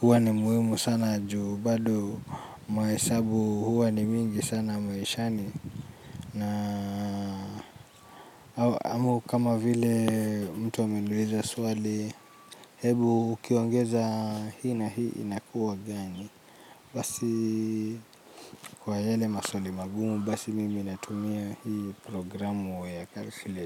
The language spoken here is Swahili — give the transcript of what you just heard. huwa ni muhimu sana juu. Bado mahesabu huwa ni mingi sana mahishani. Na amu kama vile mtu ameniuliza suwali. Hebu ukiwongeza hii na hii inakuwa gani basi kwa yale masuali magumu basi mimi natumia hii programu wa ya calculator.